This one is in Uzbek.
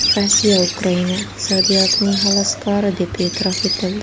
Rossiya Ukraina iqtisodiyotining xaloskori deb e’tirof etildi.